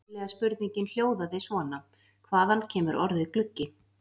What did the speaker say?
Upprunalega spurningin hljóðaði svona: Hvaðan kemur orðið gluggi?